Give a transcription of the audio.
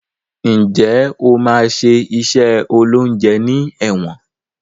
Njé o ma ṣe iṣé oloúnjẹ ní èwòn